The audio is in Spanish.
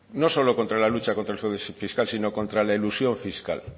no solo contra la lucha contra el fraude fiscal sino contra la elusión fiscal